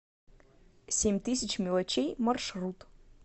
семь тысяч мелочей маршрут